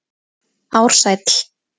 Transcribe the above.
Ársæll